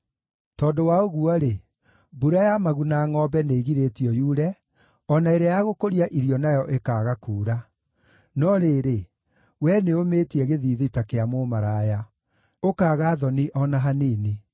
Tondũ wa ũguo-rĩ, mbura ya maguna-ngʼombe nĩĩgirĩtio yure, o na ĩrĩa ya gũkũria irio nayo ĩkaaga kuura. No rĩrĩ, wee nĩũmĩtie gĩthiithi ta kĩa mũmaraya, ũkaaga thoni o na hanini.